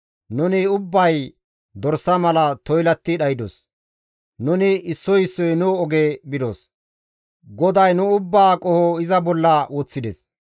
Nuni ubbay dorsa mala toylatti dhaydos; nuni issoy issoy nu oge bidos; GODAY nu ubbaa qoho iza bolla woththides.